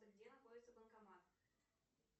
где находится банкомат